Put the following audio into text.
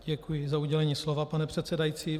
Děkuji za udělení slova, pane předsedající.